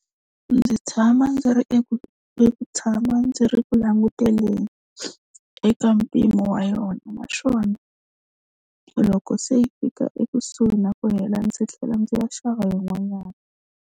Ndzi tshama ndzi ri eku ndzi tshama ndzi ri ku languteni eka mpimo wa yona, naswona loko se yi fika ekusuhi na ku hela ndzi tlhela ndzi ya xava yin'wanyana.